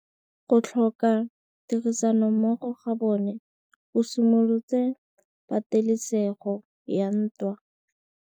Go tlhoka tirsanommogo ga bone go simolotse patêlêsêgô ya ntwa.